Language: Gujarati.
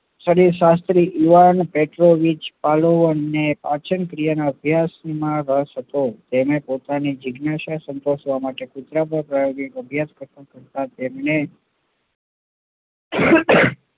શાસ્ત્રી યુવાન ને પાચનક્રિયાના અભ્યાસમાં રસ હતો તેને પોતાની જીજ્ઞાસા સંતોષવા માટે કેટલા પ્રયાસ કર્યા પણ તેમને